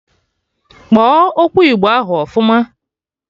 Kpọọ okwu igbo ahụ ọfụma!